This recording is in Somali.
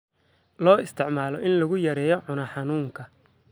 Loo isticmaalo in lagu yareeyo cunaha xanuunka.